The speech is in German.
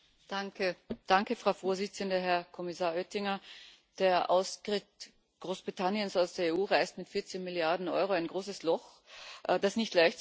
Frau Präsidentin, Herr Kommissar Oettinger! Der Austritt Großbritanniens aus der EU reißt mit 14 Milliarden Euro ein großes Loch, das nicht leicht zu stopfen sein wird.